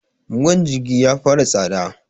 man jirgi ya fara tsada